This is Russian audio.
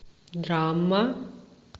драма